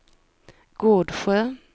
Gårdsjö